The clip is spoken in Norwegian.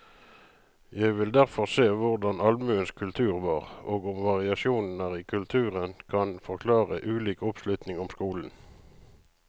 Jeg vil derfor se på hvordan allmuens kultur var, og om variasjoner i kulturen kan forklare ulik oppslutning om skolen.